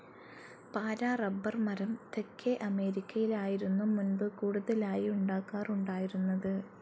പാറ റബ്ബർ മരം തെക്കേ അമേരിക്കയിലായിരുന്നു മുൻപ് കൂടുതലായി ഉണ്ടാകാറുണ്ടായിരുന്നത്.